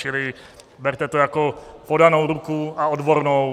Čili berte to jako podanou ruku, a odbornou.